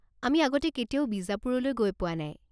আমি আগতে কেতিয়াও বিজাপুৰলৈ গৈ পোৱা নাই।